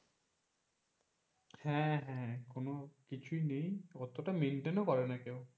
হ্যাঁ হ্যাঁ কোন কিছুই নেই। অতটা maintain ও করে না কেউ।